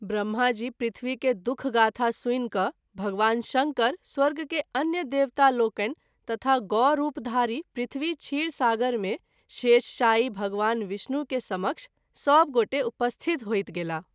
ब्रम्हा जी पृथ्वी के दु:ख गाथा सुनि क’ भगवान शंकर , स्वर्ग के अन्य देवता लोकनि तथा गौ रूप धारी पृथ्वी क्षीर सागर मे शेषशायी भगवान विष्णु के समक्ष सभ गोटे उपस्थित होइत गेलाह।